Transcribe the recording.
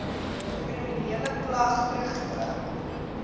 kriminele klag teruggetrek